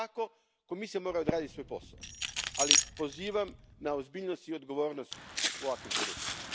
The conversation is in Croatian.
Ako je to tako, Komisija mora odraditi svoj posao, ali pozivam na ozbiljnost i odgovornost u ovakvim trenucima.